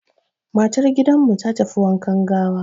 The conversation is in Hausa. Matar gidanmu ta tafi wankan gawa.